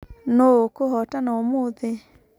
Nũ ũkũhotana ũmũthĩ?